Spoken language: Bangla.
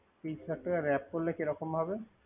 তেইশ লাখ টাকা র‌্যাপ করলে কিরকম ভাবে।